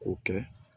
K'o kɛ